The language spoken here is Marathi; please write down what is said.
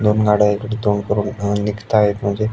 दोन गाड्या इकड तोंड करून अ निघताएत म्हणजे--